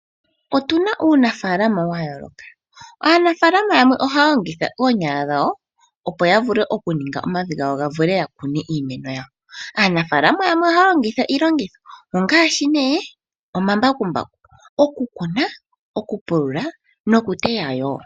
Otuna uunafalama wa yooloka aanafalama yamwe ohaya longitha oonyala dhawo opo yaninge omavi gawo nawa ya vule oku kuna. Aanafalama yamwe ohaya longitha iilongitho ngaashi omambakumbaku oku kuna, okupulula nokuteya wo.